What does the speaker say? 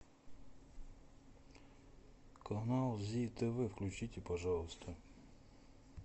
канал зи тв включите пожалуйста